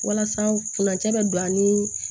Walasa furancɛ bɛ don a ni